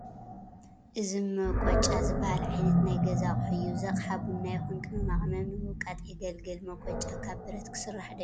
እዚ መቆጫ ዝበሃል ዓይነት ናይ ገዛ ኣቕሓ እዩ፡፡ እዚ ኣቕሓ ቡና ይኹን ቅመማ ቅመም ንምውቃጥ የግልግል፡፡ መቆጫ ካብ ብረት ክስራሕ ዶ ይኽእል?